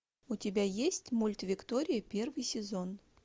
у тебя есть мульт виктория первый сезон